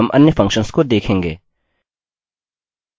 string reverse संभवतः strrev है